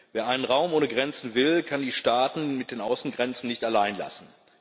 Wer einen Raum ohne Grenzen will, kann die Staaten mit den Außengrenzen nicht alleinlassen.